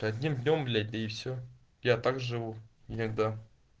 одним днём бля и все я так живу никогда